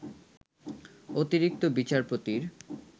অতিরিক্ত বিচারপতির